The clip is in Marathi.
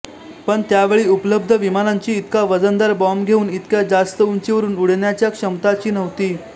पण त्यावेळी उपलब्ध विमानांची इतका वजनदार बॉम्ब घेऊन इतक्या जास्त उंचीवरून उडण्याच्या क्षमताची नव्हती